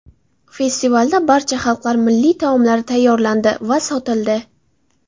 Festivalda barcha xalqlar milliy taomlari tayyorlandi va sotildi.